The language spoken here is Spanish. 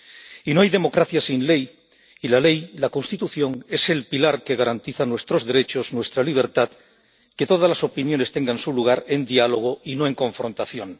Y no hay democracia sin ley, y la ley, la Constitución, es el pilar que garantiza nuestros derechos, nuestra libertad, que todas las opiniones tengan su lugar en diálogo y no en confrontación.